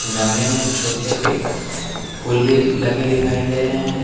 गमले में छोटे पे फूल भी लगे दिखाई दे रहे हैं।